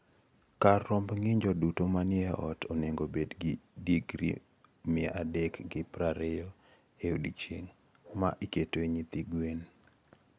Kar romb ng'injo duto manie ot onego obed gi digri mia adek gi prariyo e odiechieng' ma iketoe nyithi gwen.